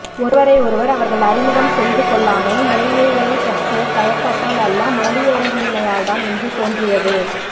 ஒருவரை ஒருவர் அவர்கள் அறிமுகம் செய்துகொள்ளாமை முறைமைகளைப்பற்றிய தயக்கத்தால் அல்ல மொழியறிவின்மையால்தான் என்று தோன்றியது